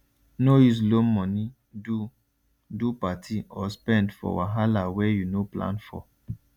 no use loan money do do party or spend for wahala wey you no plan for